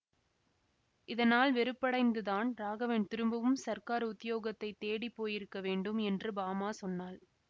இதனால் வெறுப்படைந்துதான் ராகவன் திரும்பவும் சர்க்கார் உத்தியோகத்தைத் தேடிப்போயிருக்க வேண்டும் என்று பாமா சொன்னாள்